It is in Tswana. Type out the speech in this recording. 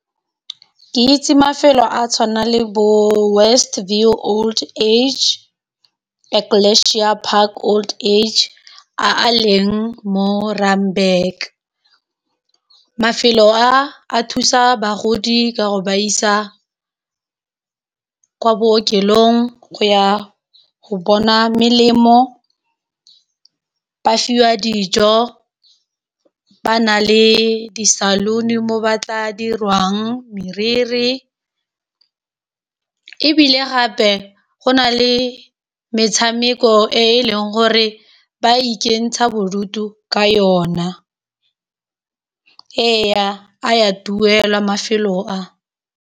Ke itse mafelo a a tshwanang le bo West View Old Age, Aclasia Park Old Age a leng mo Randburg mafelo a thusa bagodi ka go ba isa ko bookelong go ya go bona melemo, ba fiwa dijo ba na le di saloon mo ba tla dirwang moriri e bile gape go nale metshameko e e leng gore ba ikentsha bodutu ka yona e ya a duelwa mafelo a.